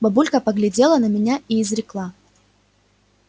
бабулька поглядела на меня и изрекла